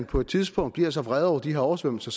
på et tidspunkt bliver så vrede over de her oversvømmelser